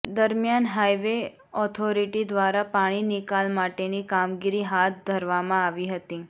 દરમિયાન highway authority દ્વારા પાણી નિકાલ માટેની કામગીરી હાથ ધરવામાં આવી હતી